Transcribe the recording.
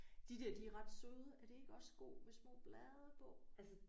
De der de er ret søde er det ikke også sko med små blade på